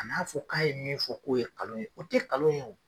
Kan'a fɔ k'a ye min fɔ k'o ye kalon ye o tɛ kalon ye o.